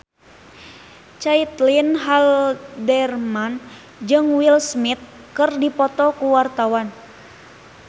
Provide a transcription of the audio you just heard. Caitlin Halderman jeung Will Smith keur dipoto ku wartawan